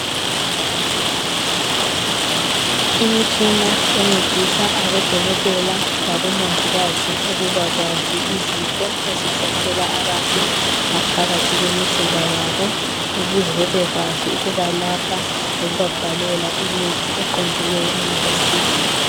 Imitshina encedisa abodokotela labomongikazi ukubakwazi izifo ezihlasela abantu ngaphakathi kwemizimba yabo ukuze bebekwazi ukubalapha lokubabhalela imithi eqondileyo engabasiza